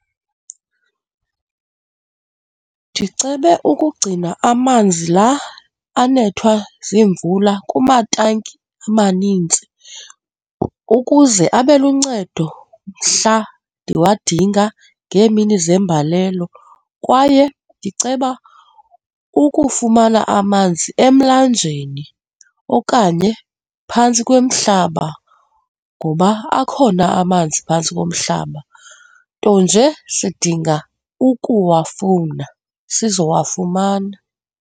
Ndicebe ukugcina amanzi la anethwa ziimvula kumatanki amanintsi ukuze abe luncedo mhla ndiwandinga ngeemini zembalelo kwaye ndiceba ukufumana amanzi emlanjeni okanye phantsi komhlaba ngoba akhona amanzi phantsi komhlaba, nto nje sidinga ukuwafumana, sizowafumana.